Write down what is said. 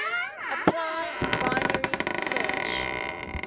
apply binary search